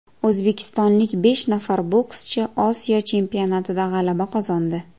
O‘zbekistonlik besh nafar bokschi Osiyo chempionatida g‘alaba qozondi.